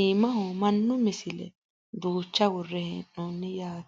iimaho mannu misile duucha worre hee'noonni yaate